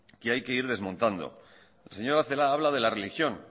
que hay que ir desmontando la señora celaá habla de la religión